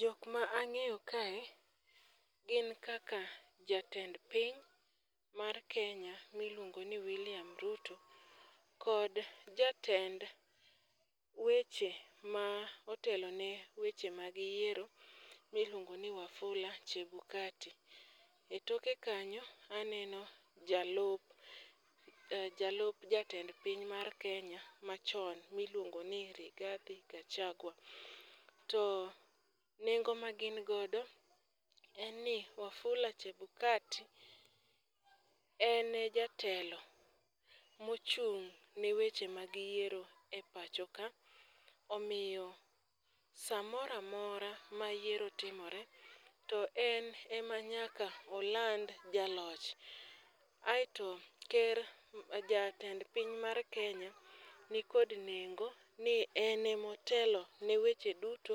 Jok ma ang'eyo kae gin kaka jatend piny mar Kenya miluongo ni William Ruto kod jatend weche ma otelone weche mag yiero miluongoni Wafula Chebukati. E toke kanyo aneno jalup jatelo mar Kenya machon miluongo ni Rigadhi Gachagua. To nengo ma gin godo en ni Wafula Chebukati en jatelo mochung'ne weche mag yiero e pacho ka, omiyo samora mora ma yiero timore, to en ema nyaka oland jaloch, aeto jatend piny mar Kenya nikod nengo ni en emotelo ne weche duto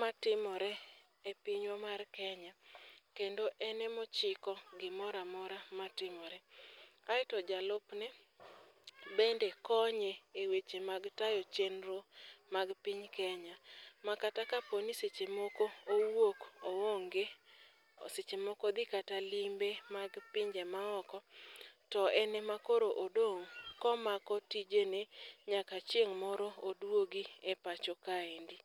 matimore e pinywa mar Kenya, kendo en emochiko gimora mora matimore. aeto jalupne bende konye e wechje mag tayo chenro mag piny Kenya, ma kata kaponi seche moko owuok oonge, seche moko odhi kata limbe mag pinje maoko, to en ema koro odong' komako tijeni nyaka chieng' moro odwog e pacho kaendi.